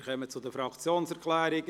Wir kommen zu den Fraktionserklärungen.